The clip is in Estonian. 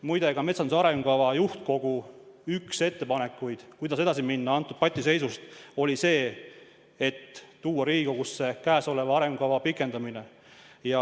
Muide, ka metsanduse arengukava juhtkogu üks ettepanekuid, kuidas patiseisust edasi minna, oli see, et vahest tuua Riigikogusse praeguse arengukava pikendamine.